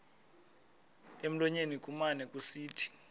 emlonyeni kumane kusithi